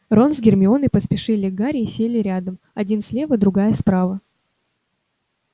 рон с гермионой поспешили к гарри и сели рядом один слева другая справа